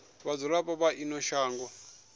ha vhadzulapo vha ino shango